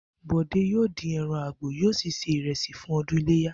Bò̩dé yóò dín e̩ran àgbò, yóò sì se ìre̩sì fún o̩dún iléyá